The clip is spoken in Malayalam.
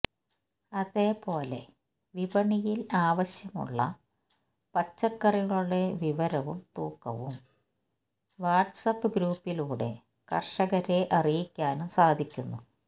അതേ പോലെ വിപണിയില് ആവശ്യമുള്ള പച്ചക്കറികളുടെ വിവരവും തൂക്കവും വാട്സാപ്പ് ഗ്രൂപ്പിലൂടെ കര്ഷകരെ അറിയിക്കാനും സാധിക്കുന്നു